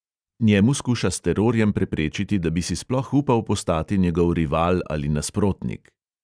Njemu skuša s terorjem preprečiti, da bi si sploh upal postati njegov rival ali nasprotnik.